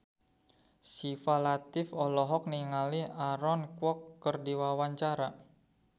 Syifa Latief olohok ningali Aaron Kwok keur diwawancara